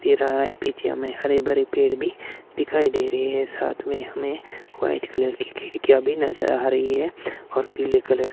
तिराहा है बीच में हरे भरे पेड़ भी दिखाई दे रहे हैं साथ में हमें व्हाइट कलर की खिड़कियां भी नजर आ रही है और पीले कलर --